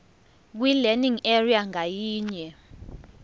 kwilearning area ngayinye